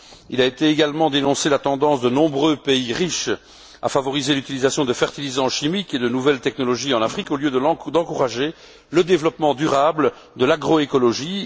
Elles ont également dénoncé la tendance de nombreux pays riches à favoriser l'utilisation de fertilisants chimiques et de nouvelles technologies en Afrique au lieu d'encourager le développement durable de l'agroécologie.